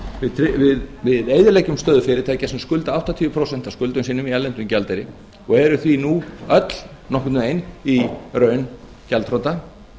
tvennt við eyðileggjum stöðu fyrirtækja sem skulda áttatíu prósent af skuldum eigum í erlendum gjaldeyri og eru því öll nú nokkurn veginn í raun gjaldþrota